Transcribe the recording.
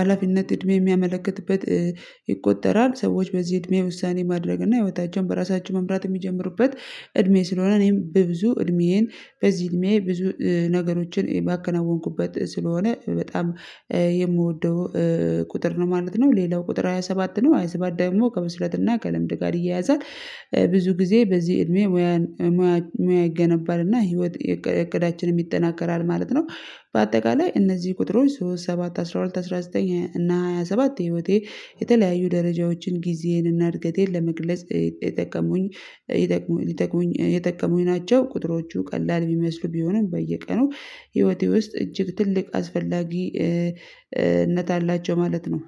ሀላፊነት እድሜ የሚያመለክትበት ይቆጠራል ሰዎች በዚህ እድሜ ውሳኔ ማድረግ እና ህይወታቸውን በራሳቸው መምራት የሚጀምሩበት እድሜ ስለሆነ እኔም በብዙ እድሜዬን በዚህ እድሜዬ ብዙ ነገሮችን ባከናወንኩበት ስለሆነ በጣም የምወደው ቁጥር ነው ማለት ነው ሌላው ቁጥር ሃያ ሰባት ነው ሃያ ሰባት ደግሞ ከብስለትና ከልምድ ጋር ይያያዛል ብዙ ጊዜ በዚህ እድሜ ሙያ ሙያ ይገነባልና ህይወት እቅዳችንም ይጠናከራል ማለት ነው በአጠቃላይ እነዚህ ቁጥሮች ሶስት ሰባት አስራ ሁለት አስራ ዘጠኝ እና ሃያ ሰባት ህይወቴ የተለያዩ ደረጃዎችን ጊዜዬን እና እድገቴን ለመግለጽ የጠቀሙኝ ይጠቀሙኝ የጠቀሙኝ ናቸው ቁጥሮቹ ቀላል ቢመስሉ ቢሆንም በየቀኑ ህይወቴ ውስጥ እጅግ ትልቅ አስፈላጊነት አላቸው ማለት ነው።